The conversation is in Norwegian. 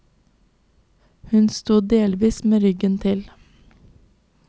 Hun sto delvis med ryggen til.